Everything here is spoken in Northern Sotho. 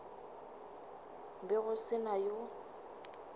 be go se na yo